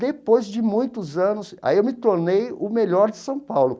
Depois de muitos anos, aí eu me tornei o melhor de São Paulo.